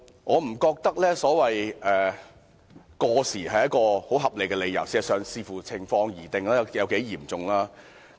我不覺得所謂過時，是一個不再採取行動的很合理理由。